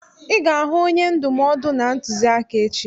I ga-ahụ onye ndụmọdụ na ntụziaka echi!